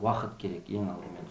уақыт керек ең алдымен